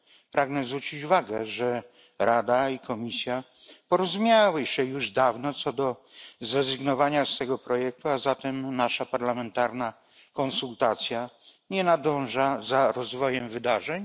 Pragnę zwrócić uwagę, że Rada i Komisja porozumiały się już dawno co do zrezygnowania z tego projektu, a zatem nasza parlamentarna konsultacja nie nadąża za rozwojem wydarzeń.